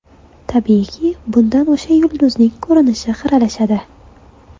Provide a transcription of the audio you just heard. Tabiiyki, bundan o‘sha yulduzning ko‘rinishi xiralashadi.